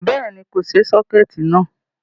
Béèni, kò ṣe sọ́kẹ̀tí náà